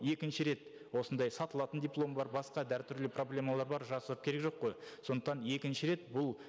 екінші рет осындай сатылатын диплом бар басқа да әртүрлі проблемалар бар жасырып керегі жоқ қой сондықтан екінші рет бұл